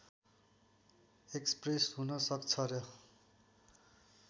express हुन सक्छ र